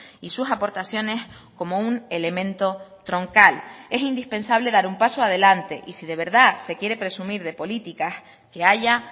y sus aportaciones como un elemento troncal es indispensable dar un paso adelante y si de verdad se quiere presumir de políticas que haya